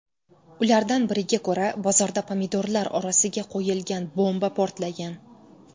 Ulardan biriga ko‘ra, bozorda pomidorlar orasiga qo‘yilgan bomba portlagan.